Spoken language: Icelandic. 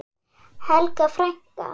Helga frænka.